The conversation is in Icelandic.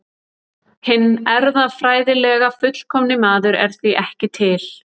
Hinn erfðafræðilega fullkomni maður er því ekki til.